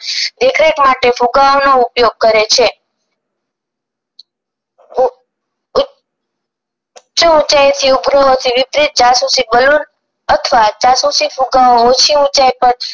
દેખરેખ માટે ફુગાઓ નો ઉપયોગ કરે છે ઊચે ઉચાયેથી વિપરીત જાસૂસી બલૂન અથવા જાસૂસી ફુગ્ગા ઓછી ઊચાઇ પર